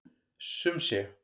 Sum sé.